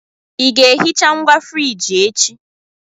Ị ga-ehicha ngwa friji echi?